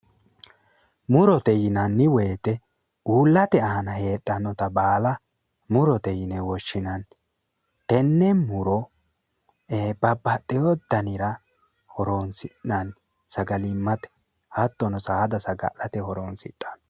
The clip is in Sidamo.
Murote yinanni woyte uullate aana heedhannote baala murote yine woshinanni, tene muro babaxewore danira horonsinanni, sagalimate hatono saada sagalete horonsidhano